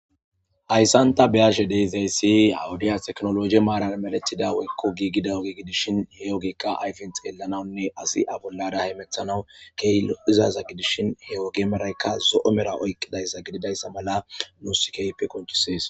Hayssanta beyashe deezayssi awudiya teknologe maaran meletida weykko giigida ogiigidishin hewogekka ayfen xeellanawunne asi abollara hemethanawu keeylo izaza gidishin he wogemeraykka zo'o mera oyqqidayssa gididayssa mala nu sikeype konchisees.